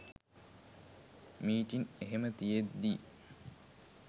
meeting එහෙම තියෙද්දි